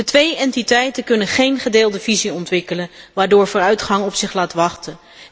De twee entiteiten kunnen geen gedeelde visie ontwikkelen waardoor vooruitgang op zich laat wachten.